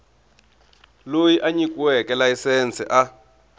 loyi a nyikiweke layisense a